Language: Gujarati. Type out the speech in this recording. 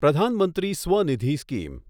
પ્રધાન મંત્રી સ્વનિધિ સ્કીમ